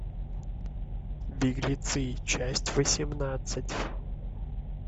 беглецы часть восемнадцать